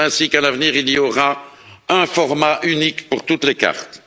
C'est ainsi qu'à l'avenir, il y aura un format unique pour toutes les cartes.